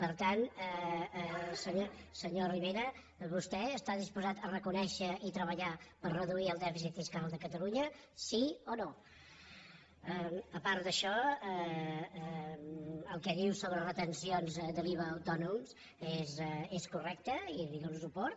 per tant senyor rivera vostè està disposat a reconèixer i treballar per reduir el dèficit fiscal de catalunya sí o no a part d’això el que diu sobre retencions de l’iva a autònoms és correcte i li dono suport